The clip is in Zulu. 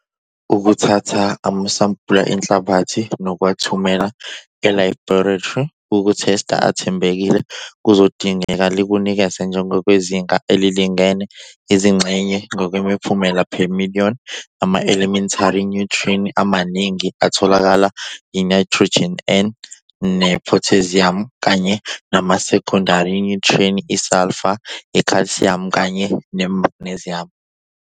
Ukuthatha amasampula enhlabathi nokuwathumela ela-laboratory okuthesta athembekile kuzodingeka likunikeze njengokwezinga elilingene, izingxenye ngokwemiphumela per million ama-elementali nyuthriyenti amaningi atholakalayo yiNayithrojini, N, nephotheziyumu kanye namasekhondari nyuthriyenti isalfa, ikhalsiyamu, kanye nemagneziyamu.